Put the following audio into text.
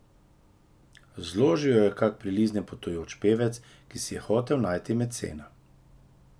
Zložil jo je kak priliznjen potujoč pevec, ki si je hotel najti mecena.